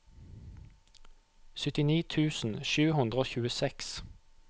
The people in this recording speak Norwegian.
syttini tusen sju hundre og tjueseks